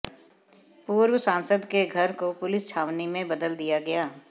पूर्व सांसद के घर को पुलिस छावनी में बदल दिया गया